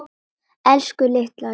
Elsku litla ljós.